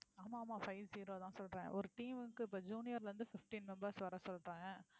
ஆமா ஆமா five zero தான் சொல்றேன் ஒரு team க்கு இப்ப junior ல இருந்து fifteen members வர சொல்றேன்